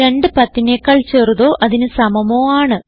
2 10നെക്കാൾ ചെറുതോ അതിന് സമമോ ആണ്